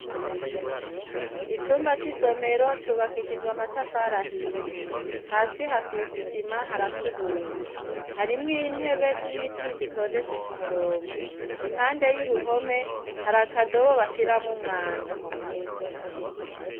Icumba c'isomero cubakishijwe amatafari ahiye hasi hasizisima harakubuye harimw intebe z'ibiti zitondetse ku murongo impande y'uruhome hariakadobo bashiramwo umwanda.